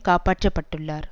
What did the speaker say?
காப்பாற்றப்பட்டுள்ளார்